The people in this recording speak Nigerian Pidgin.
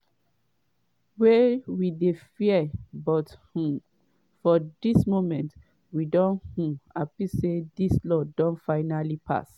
wey we dey fear but um for dis moment we don um happy say dis law don finally pass.”